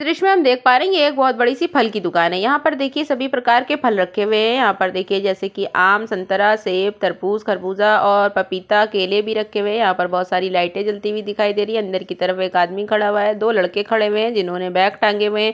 इस द्र्श्य में हम देख पा रहे है ये एक बहोत बड़ी सी फल की दुकान है यहाँ पर देखिये सभी प्रकार के फल रखे हुए है यहाँ पर देखिये जैसे की आम संतरा सेब तरबूज़ ख़रबूज़ा और पपीता केले भी रखे हुए है। यहाँ पर बहोत सारी लाइटे जलती हुई दिखाई दे रही है अंदर की तरफ एक आदमी खड़ा हुआ है दो लड़के खड़े हुए है जिन्होने बैग टांगे हुए है।